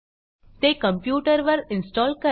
ते कॉम्प्युटरवर इन्स्टॉल करा